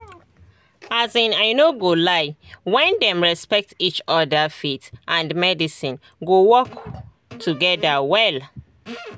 as in i no go lie when dem respect each other faith and medicine go work together wella